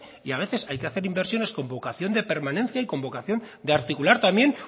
y a veces hay que hacer inversiones con vocación de permanencia y con vocación de articular también